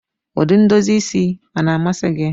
Ụdị ndozi isi a na-amasị gị?